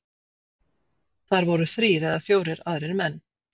Þar voru þrír eða fjórir aðrir menn.